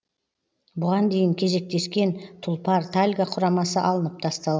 бұған дейін кезектескен тұлпар тальго құрамасы алынып тастал